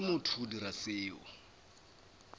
ke motho go dira seo